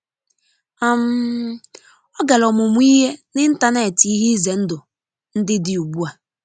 um ọgara ọmumuihe n'intanetị ihe ize ndụ ndi di ụgbụ a.